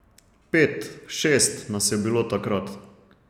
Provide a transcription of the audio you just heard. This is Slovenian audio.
Pet, šest nas je bilo takrat.